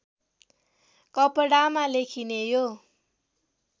कपडामा लेखिने यो